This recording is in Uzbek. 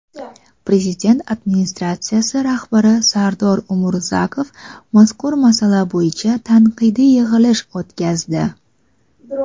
Prezident Administratsiyasi rahbari Sardor Umurzakov mazkur masala bo‘yicha tanqidiy yig‘ilish o‘tkazdi.